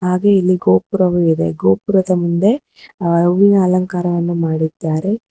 ಹಾಗು ಇಲ್ಲಿ ಗೋಪುರವುವಿದೆ ಗೋಪುರದ ಮುಂದೆ ಅ ಹೂವುನ ಅಲಂಕಾರವನ್ನು ಮಾಡಿದ್ದಾರೆ.